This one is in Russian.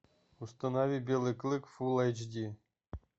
установи белый клык фул эйч ди